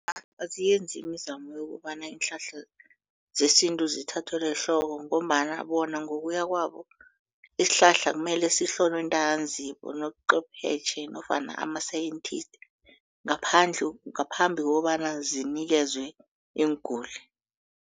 Awa, aziyenzi imizamo yokobana iinhlahla zesintu zithathelwe ehloko ngombana bona ngokuya kwabo isihlahla kumele sihloliwe ntanzi bonoqwephetjhe nofana ama-scientist ngaphambi kokobana sinikezwe iinguli.